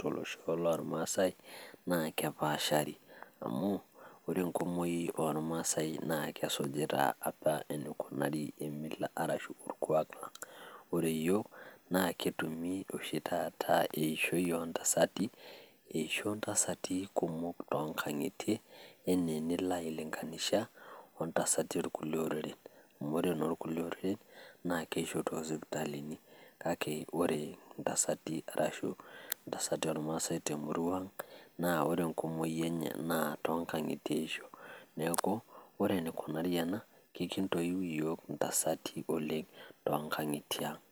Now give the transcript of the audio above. tolosho lormaasai naa kepaashari amu ore enkumoi ormaasai naa kesujita apa enikunari emila arashu orkuak lang'. Ore iyiok naa ketumi oshi taata eshoi o ntasati eisho ntasati kumok to nkang'itie ene enilo ailing'anisha o ntasati orkulie oreren amu ore inorkulie oreren naa keishi too sipitalini kake ore ntasati arashu ntasati ormaasai te murua ang' naa ore enkumoi enye naa too nkang'itie eisho. Neeku ore enikunari ena kekintoyiu iyiok intasati oleng' too nkang'itie aang'.